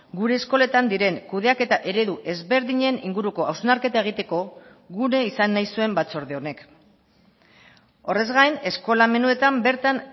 gure eskoletan diren kudeaketa eredu ezberdinen inguruko hausnarketa egiteko gune izan nahi zuen batzorde honek horrez gain eskola menuetan bertan